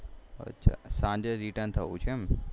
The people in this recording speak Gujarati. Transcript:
સાંજે return થવું છે એમ